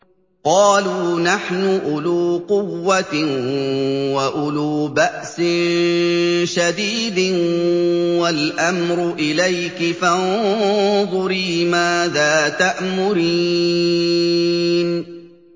قَالُوا نَحْنُ أُولُو قُوَّةٍ وَأُولُو بَأْسٍ شَدِيدٍ وَالْأَمْرُ إِلَيْكِ فَانظُرِي مَاذَا تَأْمُرِينَ